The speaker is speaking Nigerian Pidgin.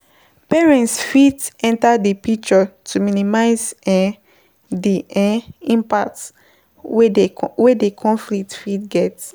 Parents fit enter di picture to minimize um di um impact wey di conflict fit get